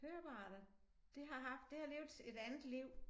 Høreapparater det har haft det har levet et andet liv